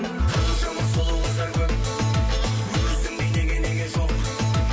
қаншама сұлу қыздар көп өзіңдей неге неге жоқ